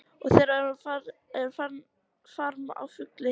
Og þeir eru með farm af fugli.